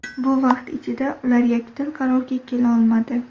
Bu vaqt ichida ular yakdil qarorga kela olmadi.